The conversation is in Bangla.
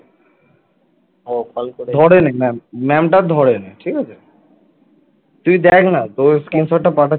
তুই দেখ না তোকে screenshot পাঠাচ্ছি